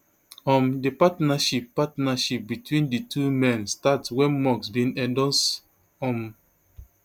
um di partnership partnership between di two men start wen musk bin endorse um